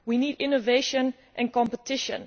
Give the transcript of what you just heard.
We need innovation and competition.